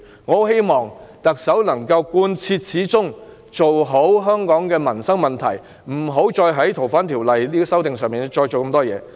我很希望特首能夠貫徹始終，妥善處理香港的民生問題，不要再就《逃犯條例》的修訂大費周章。